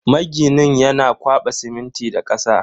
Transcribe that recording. Maginin yana kwaba siminti da kasa.